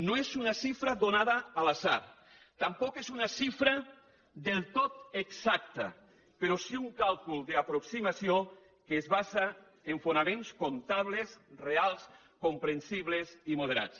no és una xifra donada a l’atzar tampoc és una xifra del tot exacta però sí un càlcul d’aproximació que es basa en fonaments comptables reals comprensibles i moderats